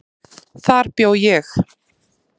Þar bjó ég.